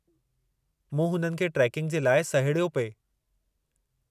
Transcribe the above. मूं हुननि खे ट्रेकिंग जे लाइ सहेड़ियो पिए।